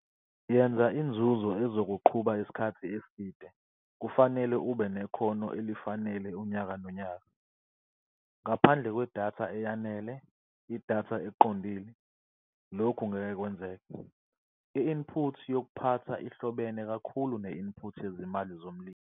Yenza unzuzo ezokuqhuba isikhathi eside kufanele ube nekhono elifanele unyakanonyaka. Ngaphandle kwedatha eyanele, idatha eqondile, lokhu ngeke kwenzeke. I-input yokuphatha ihlobene kakhulu ne-input yezimali zomlimi.